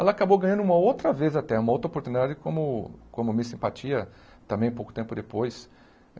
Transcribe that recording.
Ela acabou ganhando uma outra vez até, uma outra oportunidade como como miss simpatia, também pouco tempo depois.